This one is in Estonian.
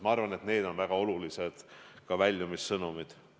Ma arvan, et need on väga olulised väljumissõnumid.